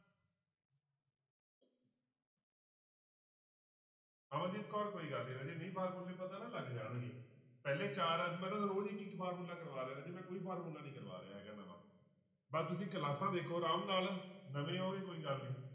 ਅਮਨਦੀਪ ਕੌਰ ਕੋਈ ਗੱਲ ਨੀ ਰਾਜੇ ਨਹੀਂ ਫਾਰਮੁਲੇ ਪਤਾ ਨਾ ਲੱਗ ਜਾਣਗੇ ਪਹਿਲੇ ਚਾਰ ਰੋਜ਼ ਇੱਕ ਇੱਕ ਫਾਰਮੁਲਾ ਕਰਵਾ ਰਿਹਾਂ ਰਾਜੇ ਮੈਂ ਕੋਈ ਫਾਰਮੁਲਾ ਨੀ ਕਰਵਾ ਰਿਹਾ ਹੈਗਾ ਨਵਾਂ ਪਰ ਤੁਸੀਂ ਕਲਾਸਾਂਂ ਦੇਖੋ ਆਰਾਮ ਨਾਲ ਨਵੇਂ ਹੋ ਇਹ ਕੋਈ ਗੱਲ ਨੀ